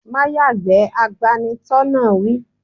Má a yàgbẹ́, agbanitọ́ náà wí